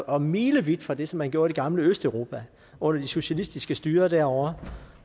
og milevidt fra det som man gjorde i det gamle østeuropa under de socialistiske styrer derovre